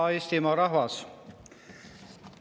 Hea Eestimaa rahvas!